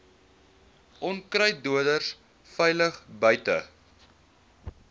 onkruiddoders veilig buite